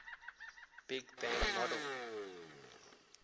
big bang model